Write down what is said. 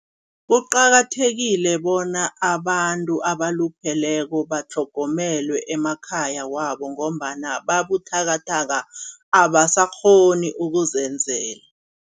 Kuqakathekile bona abantu abalupheleko batlhogomelwe emakhaya wabo ngombana babuthakathaka, abasakghoni ukuzenzela.